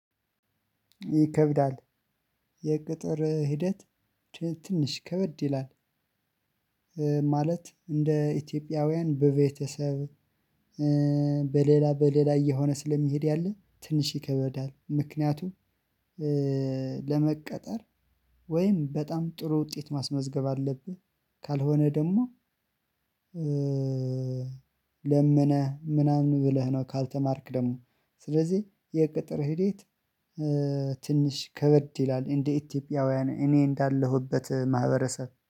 ይከብዳል። የቅጥር ሂደት ትንሽ ከበድ ይላል። ማለት እንደ ኢትዮጵያውያን በቤተሰብ በሌላ በሌላ እየሆነ ስለሚሄድ ያለ ትንሽ ይከበዳል። ምክንያቱም ለመቀጠር ወይም በጣም ጥሩ ውጤት ማስመዝገብ አለብህ። ካልሆነ ደግሞ ለምነህ ምናምን ብለህ ነው። ካልተማርክ ደግሞ ስለዚህ የቅጥር ሂዴት ትንሽ ከበድ ይላል። እንደ ኢትዮጵያውያን እኔ እንዳለሁበት ማህበረሰብ